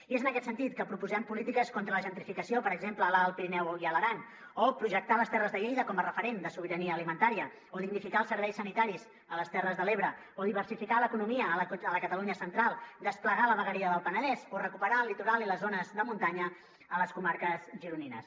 i és en aquest sentit que proposem polítiques contra la gentrificació per exemple a l’alt pirineu i a l’aran o projectar les terres de lleida com a referent de sobirania alimentària o dignificar els serveis sanitaris a les terres de l’ebre o diversificar l’economia a la catalunya central o desplegar la vegueria del penedès o recuperar el litoral i les zones de muntanya a les comarques gironines